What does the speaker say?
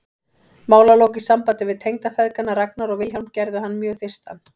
Málalok í sambandi við tengdafeðgana Ragnar og Vilhjálm gerðu hann mjög þyrstan.